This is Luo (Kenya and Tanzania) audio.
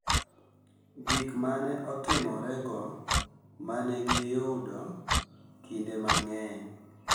Gik ma ne otimorego ma ne giyudo kinde mang’eny